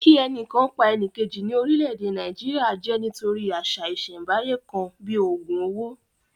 Kí ẹnìkan pa ẹnìjèkì ní orílẹ̀-èdè Nàìjíríà jẹ́ nítorí àṣà ìsẹ̀ńbáyé kan bíi ògùn owó